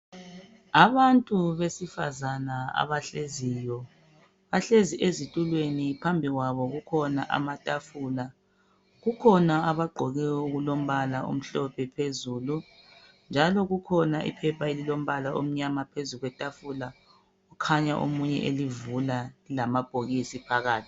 Abantu besifazana abahleziyo, bahlezi ezitulweni. Phambi kwabo kukhona amatafula. Kukhona abagqoke okulombala omhlophe phezulu njalo kukhona iphepha elilombala omnyama phezu kwetafula. Kukhanya omunye elivula lamabhokisi phakathi.